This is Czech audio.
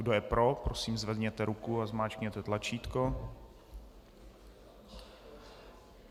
Kdo je pro, prosím, zvedněte ruku a zmáčkněte tlačítko.